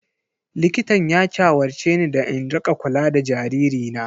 Likitan ya shawarce ni da in rika kula da jaririna.